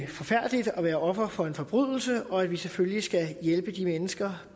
forfærdeligt at være offer for en forbrydelse og at vi selvfølgelig skal hjælpe de mennesker